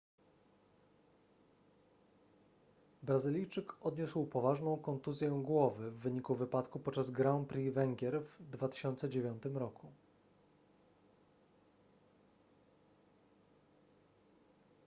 brazylijczyk odniósł poważną kontuzję głowy w wyniku wypadku podczas grand prix węgier w 2009 roku